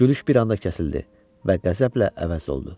Gülüş bir anda kəsildi və qəzəblə əvəz olundu.